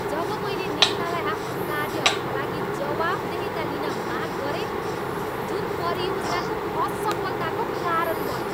जब मैले नेतालाई आफ्नो कार्यहरूका लागि जवाफदेहिता लिन माग गरे जुन परियोजनाको असफलताको कारण बन्यो।